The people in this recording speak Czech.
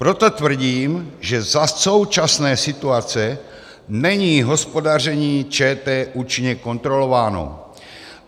Proto tvrdím, že za současné situace není hospodaření ČT účinně kontrolováno.